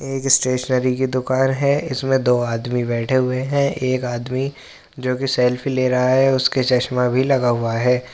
एक स्टेशनरी की दुकान है इसमें दो आदमी बैठे हुए हैं। एक आदमी जोकि सेल्फी ले रहा है। उसके चश्मा भी लगा हुआ है।